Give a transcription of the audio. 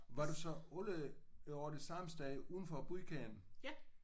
Var du så alle årene i det samme sted udenfor udkanten?